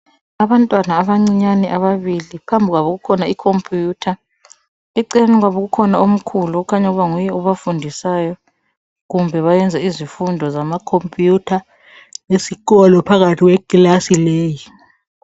Abantwana abancinyane ababili phambi kwabo kukhona ikhompuyutha, eceleni kwabo ukhona omkhulu okhanya ukuba nguye obafundisayo kumbe bayenza izifundo zamakhompuyutha esikolo phakathi kwekilasi leyi.